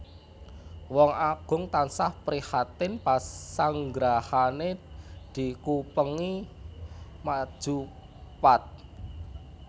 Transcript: Wong Agung tansah prihatin pasanggrahané dikupengi maju pat